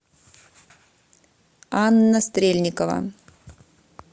анна стрельникова